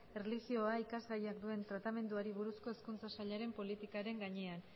erlijioa ikasgaiak duen tratamenduari buruzko hezkuntza sailaren politikaren gainean